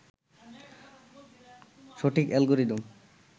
সঠিক অ্যালগোরিদম